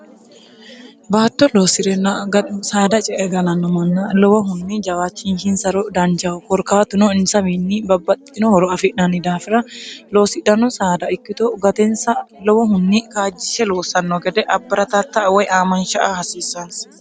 baatto loosi'renna ga saada ce egalanno manna lowohunni jawaachinhinsaro dancaho korkaatuno insawinni babbaxxitinohoro afi'nanni daafira loosidhano saada ikkito gatensa lowohunni kaajjishe loossanno gede abba'ratattaa woy aamansha a hasiisaansa